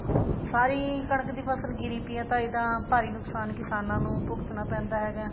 ਸਾਰੀ ਕਣਕ ਦੀ ਫਸਲ ਗਿਰੀ ਪਈ ਹੈ ਤਾਂਹੀ ਤਾਂ ਭਾਰੀ ਨੁਕਸਾਨ ਕਿਸਾਨਾ ਨੂੰ ਭੁਗਤਨਾ ਪੈਂਦਾ ਹੈਗਾ